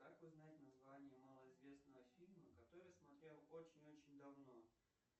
как узнать название малоизвестного фильма который смотрел очень очень давно